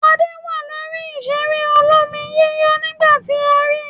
Adé wà lórí ìṣeré olómi-yíyọ̀ nígbà tí a ri.